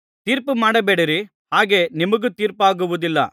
ತೀರ್ಪುಮಾಡಬೇಡಿರಿ ಹಾಗೆ ನಿಮಗೂ ತೀರ್ಪಾಗುವುದಿಲ್ಲ